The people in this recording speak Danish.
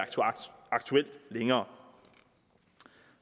aktuelt længere